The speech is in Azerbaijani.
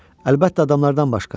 Əlbəttə adamlardan başqa.